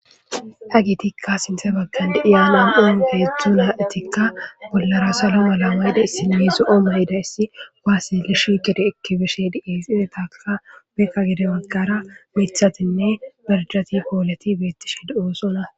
Hagetika sinthen bagara de'iza nam'u woy hedzdzu nayti bollara saloala mayidaysinne zo'o mayidays kuwase izi gede eki bishe de'es, izappeka gede bagara mithatinne birdati poleti betishe de'osona